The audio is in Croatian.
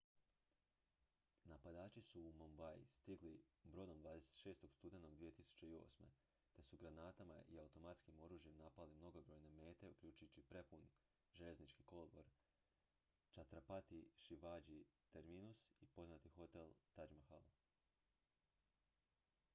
napadači su u mumbai stigli brodom 26. studenog 2008. te su granatama i automatskim oružjem napali mnogobrojne mete uključujući prepun željeznički kolodvor chhatrapati shivaji terminus i poznat hotel taj mahal